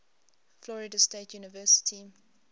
florida state university